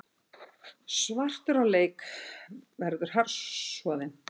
Svartur á leik verður harðsoðin